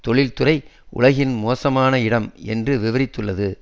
தொழிற்துறை உலகில் மோசமான இடம் என்று விவரித்துள்ளது